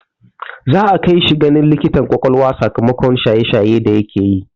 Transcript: Za'a kai shi ganin likitar ƙwaƙwalwa sakamakon shaye shaye da yake yi.